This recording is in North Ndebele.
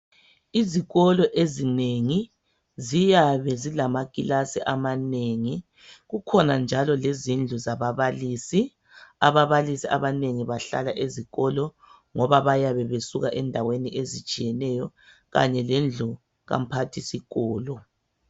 Izikolo ezinengi ziyabe zilamaklasi amanengi , kukhona njalo lezindlu zababalisi , ababalisi abanengi bahlala ezikolo ngoba bayabe besuka endaweni ezitshiyeneyo kanye lendlu kamphathisikolo